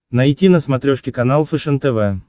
найти на смотрешке канал фэшен тв